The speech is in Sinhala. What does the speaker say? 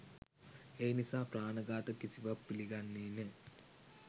ඒ නිසා ප්‍රාණ ඝාත කිසිවත් පිළිගන්නේ නෑ.